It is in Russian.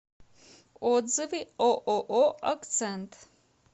отзывы ооо акцент